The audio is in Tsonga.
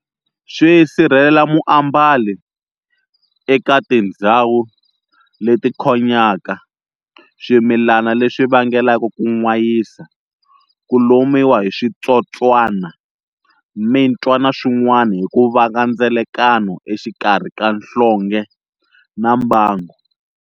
Swi sirhelela muambali eka tindzhawu leti khonyaka, swimilana leswi vangelaka ku n'wayisa, kulomiwa hi swi tsotswana, mintwa na swin'wana hi ku vanga ndzelakano exikarhi ka nhlonge na mbangu.